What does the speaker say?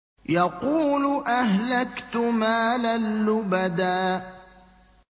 يَقُولُ أَهْلَكْتُ مَالًا لُّبَدًا